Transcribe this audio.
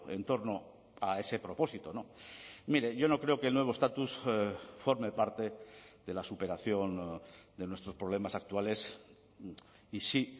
en torno a ese propósito mire yo no creo que el nuevo estatus forme parte de la superación de nuestros problemas actuales y si